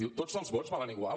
diu tots els vots valen igual